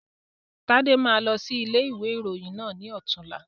Tade máa lọ sí ilé ìwé ìròyìn náà ni ọ̀tunla